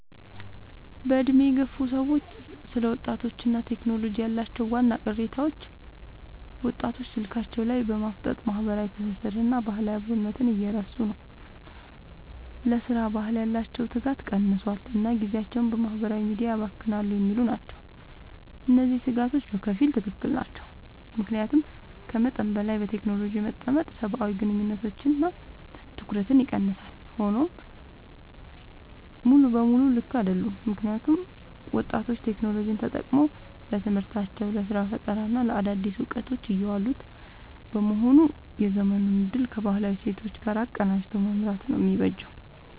በዕድሜ የገፉ ሰዎች ስለ ወጣቶችና ቴክኖሎጂ ያላቸው ዋና ቅሬታዎች፦ ወጣቶች ስልካቸው ላይ በማፍጠጥ ማህበራዊ ትስስርንና ባህላዊ አብሮነትን እየረሱ ነው: ለሥራ ባህል ያላቸው ትጋት ቀንሷል: እና ጊዜያቸውን በማህበራዊ ሚዲያ ያባክናሉ የሚሉ ናቸው። እነዚህ ስጋቶች በከፊል ትክክል ናቸው። ምክንያቱም ከመጠን በላይ በቴክኖሎጂ መጠመድ ሰብአዊ ግንኙነቶችንና ትኩረትን ይቀንሳል። ሆኖም ሙሉ በሙሉ ልክ አይደሉም: ምክንያቱም ወጣቶች ቴክኖሎጂን ተጠቅመው ለትምህርታቸው: ለስራ ፈጠራና ለአዳዲስ እውቀቶች እያዋሉት በመሆኑ የዘመኑን እድል ከባህላዊ እሴቶች ጋር አቀናጅቶ መምራት ነው የሚበጀው።